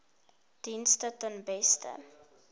dienste ten beste